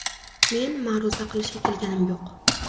Men ma’ruza qilishga kelganim yo‘q.